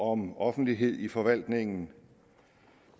om offentlighed i forvaltningen